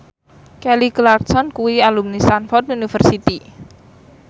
Kelly Clarkson kuwi alumni Stamford University